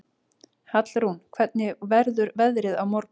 Hallrún, hvernig verður veðrið á morgun?